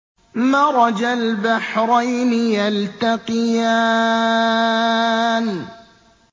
مَرَجَ الْبَحْرَيْنِ يَلْتَقِيَانِ